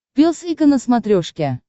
пес и ко на смотрешке